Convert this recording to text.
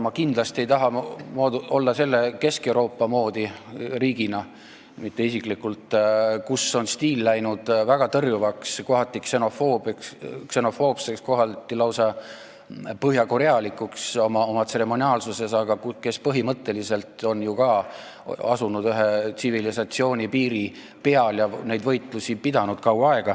Ma kindlasti ei taha olla selle Kesk-Euroopa riigi moodi – riigina, mitte isiklikult –, mille stiil on läinud väga tõrjuvaks, kohati ksenofoobseks ja lausa põhjakorealikuks oma tseremoniaalsuses, aga kes põhimõtteliselt on ju ka ühe tsivilisatsiooni piiri peal asunud ja kaua aega neid võitlusi pidanud.